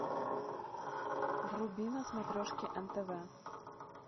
вруби на смотрешке нтв